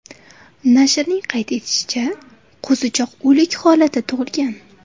Nashrning qayd etishicha, qo‘zichoq o‘lik holatda tug‘ilgan.